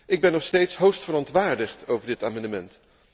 Ik ben nog steeds hoogst verontwaardigd over dit amendement.